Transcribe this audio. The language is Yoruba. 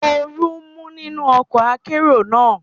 Oru ń mú nínú ọkọ̀ akérò náà.